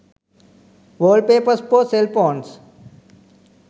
wallpapers for cell phones